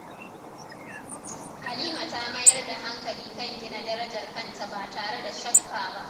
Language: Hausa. Halima ta mayar da hankali kan gina darajar kanta ba tare da shakka ba.